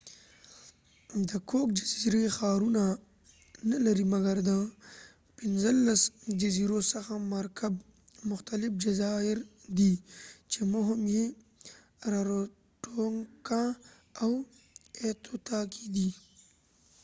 د کوک جزیری ښارونه نه لري مګر د پنځلس جزیرو څخه مرکب مختلف جزایر دي چې مهم یې راروټونګا او ایتوتاکې دي